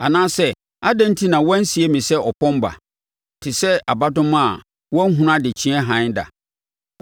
Anaasɛ adɛn enti na wɔansie me sɛ ɔpɔn ba, te sɛ abadomaa a wanhunu adekyeeɛ hann da?